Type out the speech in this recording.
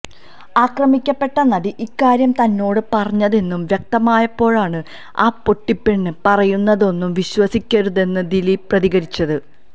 ആക്രമിക്കപ്പെട്ട നടി ഇക്കാര്യം തന്നോടു പറഞ്ഞെന്നു വ്യക്തമായപ്പോഴാണ് ആ പൊട്ടിപ്പെണ്ണ് പറയുന്നതൊന്നും വിശ്വസിക്കരുതെന്ന് ദിലീപ് പ്രതികരിച്ചത്